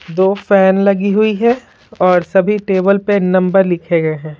दो फैन लगी हुई है और सभी टेबल पे नंबर लिखे गए है ।